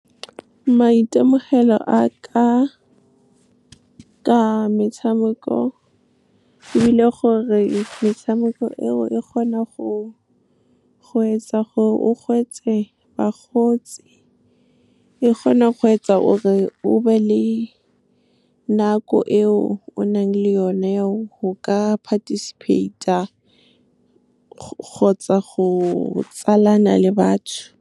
Maitemogelo aka ka metshameko e bile gore metshameko eo e kgona go etsa gore o hwetše bagotsi, e kgona go etsa gore o be le nako eo o nang le yone eo go ka participate-a kgotsa go tsalana le batho.